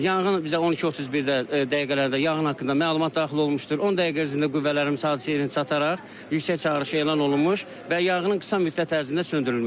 Yanğın bizə 12:31 dəqiqələrdə yanğın haqqında məlumat daxil olmuşdur, 10 dəqiqə ərzində qüvvələrimiz hadisə yerinə çatararaq yüksək çağırış elan olunmuş və yanğının qısa müddət ərzində söndürülmüşdür.